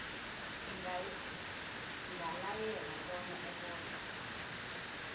ingalayela bona abotjhwe